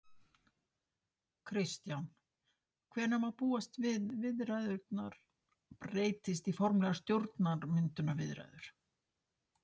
Kristján: Hvenær má búast við viðræðurnar breytist í formlegar stjórnarmyndunarviðræður?